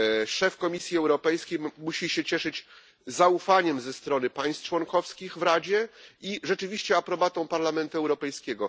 Szef Komisji Europejskiej musi się cieszyć zaufaniem ze strony państw członkowskich w Radzie i rzeczywiście aprobatą Parlamentu Europejskiego.